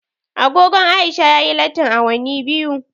Agogon Aisha ya yi lattin awanni biyu